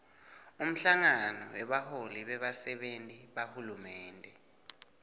umhlangano webaholi bebasenti bahulumende